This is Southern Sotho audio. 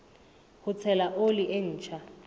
ho tshela oli e ntjha